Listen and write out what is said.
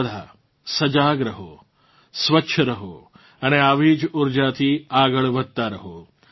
તમે બધા સજાગ રહો સ્વસ્છ રહો અને આવી જ ઊર્જાથી આગળ વધતાં રહો